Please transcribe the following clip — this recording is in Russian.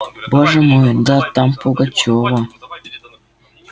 боже мой да там пугачёва